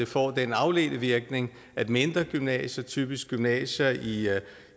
får den afledte virkning at mindre gymnasier typisk gymnasier i